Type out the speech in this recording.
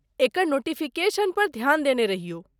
एकर notification पर ध्यान देने रहियौ।